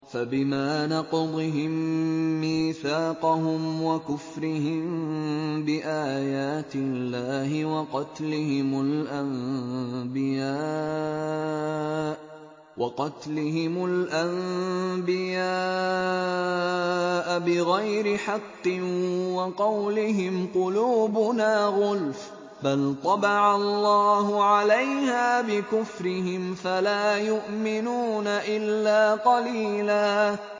فَبِمَا نَقْضِهِم مِّيثَاقَهُمْ وَكُفْرِهِم بِآيَاتِ اللَّهِ وَقَتْلِهِمُ الْأَنبِيَاءَ بِغَيْرِ حَقٍّ وَقَوْلِهِمْ قُلُوبُنَا غُلْفٌ ۚ بَلْ طَبَعَ اللَّهُ عَلَيْهَا بِكُفْرِهِمْ فَلَا يُؤْمِنُونَ إِلَّا قَلِيلًا